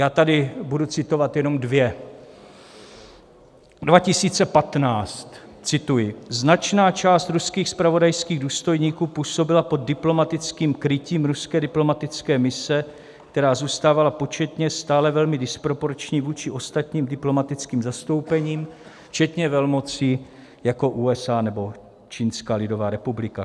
Já tady budu citovat jenom dvě: 2015, cituji: "Značná část ruských zpravodajských důstojníků působila pod diplomatickým krytím ruské diplomatické mise, která zůstávala početně stále velmi disproporční vůči ostatním diplomatickým zastoupením včetně velmocí jako USA nebo Čínská lidová republika."